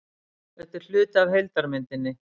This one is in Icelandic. Þetta er hluti af heildarmyndinni